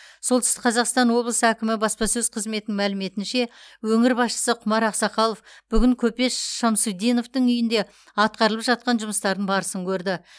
солтүстік қазақстан облысы әкімі баспасөз қызметінің мәліметінше өңір басшысы құмар ақсақалов бүгін көпес ш шамсутдиновтың үйінде атқарылып жатқан жұмыстардың барысын көрді